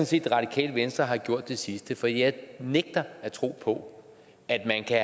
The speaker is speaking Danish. set radikale venstre har gjort det sidste for jeg nægter at tro på at man kan